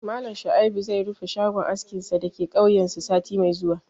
Malam Shuaib zai rufe shagon askinsa da ke kauyensu sati mai zuwa